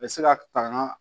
U bɛ se ka tagama